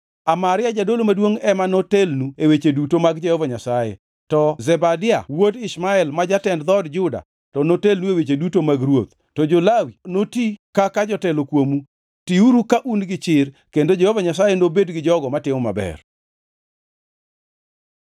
“Amaria jadolo maduongʼ ema notelnu e weche duto mag Jehova Nyasaye, to Zebadia wuod Ishmael ma jatend dhood Juda to notelnu e weche duto mag ruoth, to jo-Lawi noti kaka jotelo kuomu. Tiuru ka un gi chir, kendo Jehova Nyasaye obed gi jogo matimo maber.”